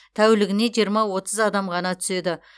тәулігіне жиырма отыз адам ғана түседі